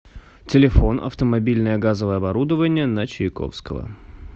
телефон автомобильное газовое оборудование на чайковского